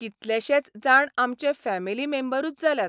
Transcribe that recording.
कितलेशेच जाण आमचे फॅमिली मेंबरूच जाल्यात.